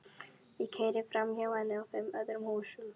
Ég keyri framhjá henni og fimm öðrum húsum.